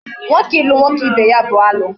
Nwoke ilu nwoke ibe ya bụ alụ